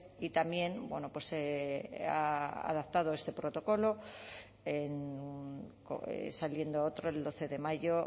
y también bueno se ha adaptado este protocolo saliendo otro el doce de mayo